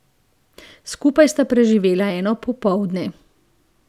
Skupaj sta preživela eno popoldne.